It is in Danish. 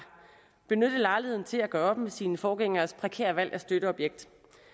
benyttet lejligheden til at gøre op med sine forgængeres prekære valg af støtteobjekt